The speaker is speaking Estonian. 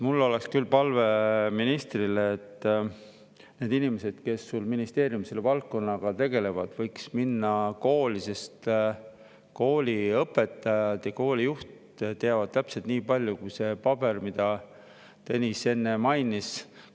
Mul oleks küll palve ministrile, et need inimesed, kes ministeeriumis selle valdkonnaga tegelevad, võiksid minna sellesse kooli, sest kooli õpetajad ja kooli juht teavad täpselt nii palju, kui see paber, mida Tõnis enne mainis.